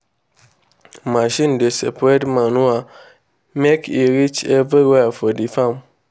machine dey spread manure make e reach everywhere for the farm.